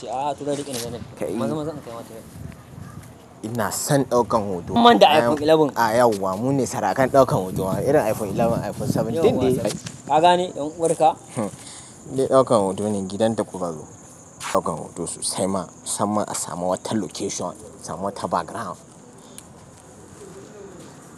A'a, suna duk inda zanai. Maza-maza ne sukayi mata nan ina son ɗaukan hoto mun manda iphone sha ɗaya. A yau wa mune sarakan ɗaukan hotonwa, irin iphone sha ɗaya, iphone bakwai din dai kaka ne ɗan uwarka? Eh, ɗaukan hoto ne gidan ta kuka zo. Ɗaukan hoto su sai ma san ma a samu wata location, samu wata background.